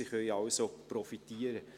Sie können also profitieren.